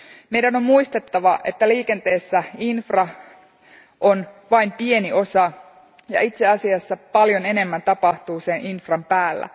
Meidän on muistettava, että liikenteessä infra on vain pieni osa ja itse asiassa paljon enemmän tapahtuu sen infran päällä.